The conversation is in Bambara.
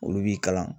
Olu b'i kalan